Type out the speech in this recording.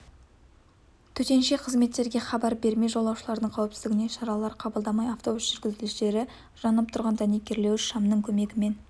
төтенше қызметтерге хабар бермей жолаушылардың қауіпсіздігіне шаралар қабылдамай автобус жүргізушілері жанып тұрған дәнекерлеуіш шамның көмегімен